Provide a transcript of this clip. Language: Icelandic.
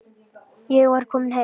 Ég var komin heim.